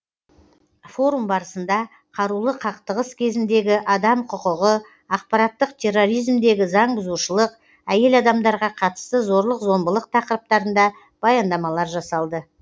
форум барысында қарулы қақтығыс кезіндегі адам құқығы ақпараттық терроризмдегі заңбұзушылық әйел адамдарға қатысты зорлық зомбылық тақырыптарында баяндамалар жасалды